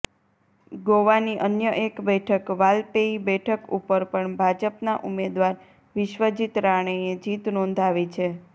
ગોવાની અન્ય એક બેઠક વાલપેઈ બેઠક ઉપર પણ ભાજપના ઉમેદવાર વિશ્વજીત રાણેએ જીત નોંધાવી છે